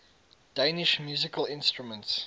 danish musical instruments